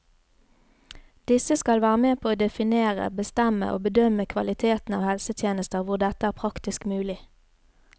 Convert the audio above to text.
Disse skal være med på å definere, bestemme og bedømme kvaliteten av helsetjenester hvor dette er praktisk mulig.